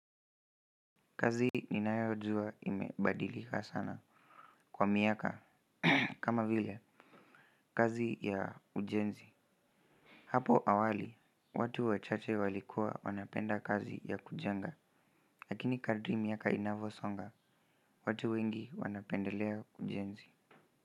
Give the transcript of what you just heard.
Kazi ninayo jua imebadilika sana kwa miaka kama vile kazi ya ujenzi hapo awali watu wachache walikuwa wanapenda kazi ya kujenga lakini kadri miaka inavyosonga watu wengi wanapendelea ujenzi.